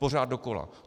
Pořád dokola.